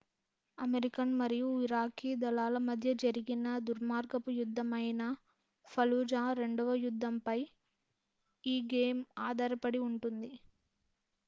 American మరియు Iraqi దళాల మధ్య జరిగిన దుర్మార్గపు యుద్ధం అయిన ఫలుజా రెండవ యుద్ధంపై ఈ గేమ్ ఆధారపడి ఉంటుంది